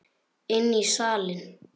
Inn í salinn.